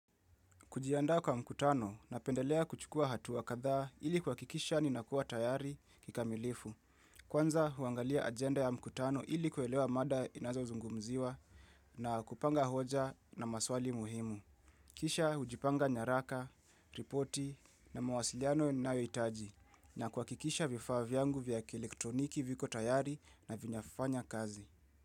Kujiandaa kwa mkutano napendelea kuchukua hatua kadhaa ili kuhakikisha ninakuwa tayari kikamilifu. Kwanza, huangalia agenda ya mkutano ili kuelewa mada inazozungumziwa na kupanga hoja na maswali muhimu. Kisha, hujipanga nyaraka, ripoti na mawasiliano ninayohitaji na kuhakikisha vifaa vyangu vya elektroniki viko tayari na vinafanya kazi.